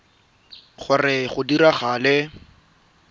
gore go tle go dirwe